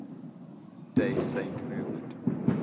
day saint movement